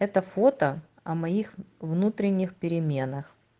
это фото о моих внутренних переменах